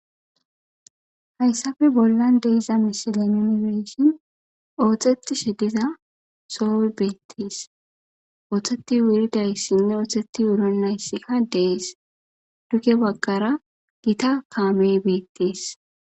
Hayssafe bollan deiza misilon yunifeshin oohxeti shediza soowe beetties ootheti wuridayssinne ootheti wuron nayssika dees duge baggara gita kaamey beettees.